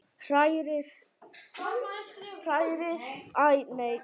Hrærið í af og til.